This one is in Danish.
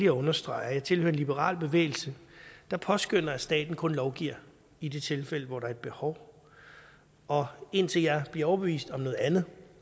at understrege at jeg tilhører en liberal bevægelse der påskønner at staten kun lovgiver i de tilfælde hvor der er et behov og indtil jeg bliver overbevist om noget andet